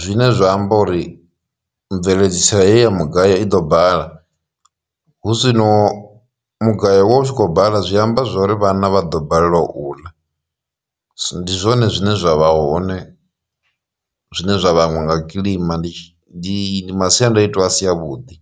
zwine zwa amba uri mubveledziso heyi ya mugayo i ḓo bala hu zwino mugayo wa hu tshi khou bala zwi amba zwori vhana vha ḓo balelwa u ḽa. Ndi zwone zwine zwa vha hoṋe zwine zwa vhangwa nga kilima ndi masiandoitwa a si a vhuḓi.